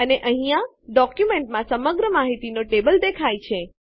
અને અહીંયા ડોક્યુંમેંટમાં સમગ્ર માહિતીનો ટેબલ દેખાય છે